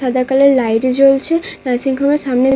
সাদা colour light জ্বলছে। Nursing home এর সামনে--